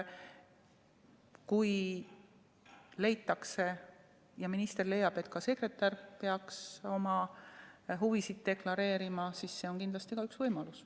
Kui leitakse, näiteks minister leiab, et ka sekretär peaks oma huvisid deklareerima, siis see võimalus on olemas.